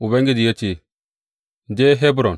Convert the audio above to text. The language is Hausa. Ubangiji ya ce, Je Hebron.